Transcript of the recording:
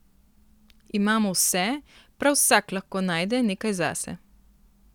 Imamo vse, prav vsak lahko najde nekaj zase.